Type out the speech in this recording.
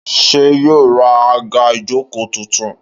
Ṣé yóò ra àga ìjókòó tuntun?